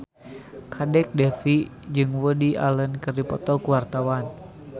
Kadek Devi jeung Woody Allen keur dipoto ku wartawan